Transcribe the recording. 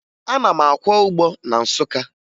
Ana m akwọ ụgbọ na Nsụka